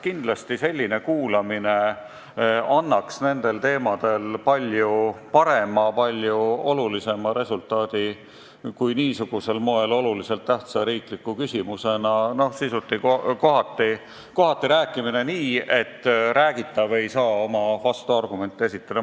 Kindlasti annaks selline kuulamine nendel teemadel palju parema, palju olulisema resultaadi kui arutelu niisugusel moel, olulise tähtsusega riikliku küsimusena, kus kohati räägitakse nii, et see, kellest räägitakse, ei saa oma vastuargumente esitada.